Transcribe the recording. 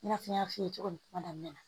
I n'a fɔ n y'a f'i ye cogo min kuma daminɛ na